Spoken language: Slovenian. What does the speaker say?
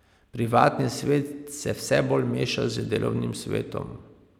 Privatni svet se vse bolj meša z delovnim svetom.